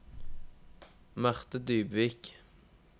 Marthe Dybvik